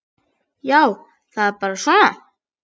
Já, það er bara svona.